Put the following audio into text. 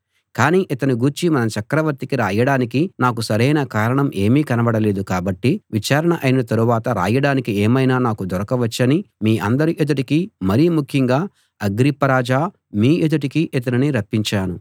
కానీ ఇతని గూర్చి మన చక్రవర్తికి రాయడానికి నాకు సరైన కారణం ఏమీ కనబడలేదు కాబట్టి విచారణ అయిన తరువాత రాయడానికి ఏమైనా నాకు దొరకవచ్చని మీ అందరి ఎదుటికి మరి ముఖ్యంగా అగ్రిప్ప రాజా మీ ఎదుటికి ఇతనిని రప్పించాను